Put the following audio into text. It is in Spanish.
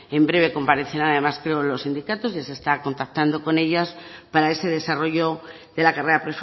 en breve comparecerán además creo los sindicatos ya se está contactando con ellos para ese desarrollo de la carrera